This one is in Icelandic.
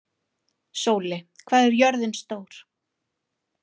Sóli, hvað er jörðin stór?